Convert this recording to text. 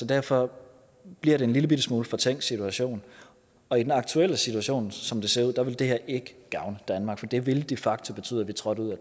derfor bliver det en lille bitte smule fortænkt situation og i den aktuelle situation som det ser ud ville det her ikke gavne danmark for det ville de facto betyde at vi trådte ud